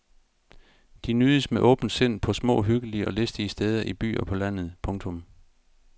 De nydes med åbent sind på små hyggelige og listige steder i by og på landet. punktum